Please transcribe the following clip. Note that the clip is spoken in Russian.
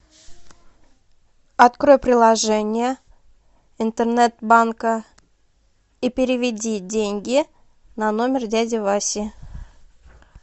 открой приложение интернет банка и переведи деньги на номер дяди васи